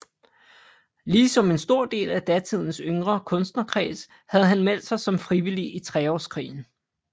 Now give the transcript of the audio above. Ligesom en stor del af datidens yngre kunstnerkreds havde han meldt sig som frivillig i Treårskrigen